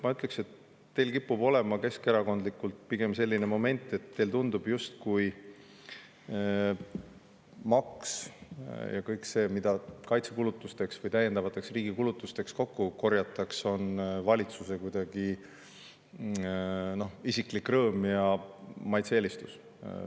Ma ütleks, et teil kipub olema keskerakondlikult pigem selline moment, et teile tundub, justkui maks ja kõik see, mida kaitsekulutuste või riigi täiendavate kulutuste jaoks kokku korjatakse, on valitsuse isiklikuks rõõmuks ja meie maitse-eelistus.